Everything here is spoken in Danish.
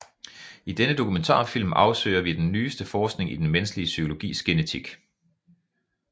I denne dokumentarfilm afsøger vi den nyeste forskning i den menneskelig psykologis genetik